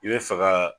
I bɛ fɛ ka